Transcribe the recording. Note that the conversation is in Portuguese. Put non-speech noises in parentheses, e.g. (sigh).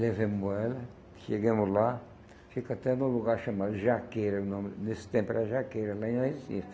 Levamos ela, chegamos lá, fica até num lugar chamado Jaqueira, nome nesse tempo era Jaqueira, lá em. (unintelligible)